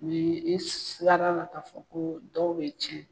Ni i sigarala k'a fɔ ko dɔw bɛ tiɲɛ.